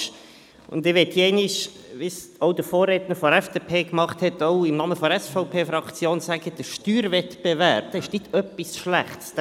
Ich möchte, wie dies der Vorredner der FDP gemacht hat, auch im Namen der SVP-Fraktion sagen, dass der Steuerwettbewerb nichts Schlechtes ist;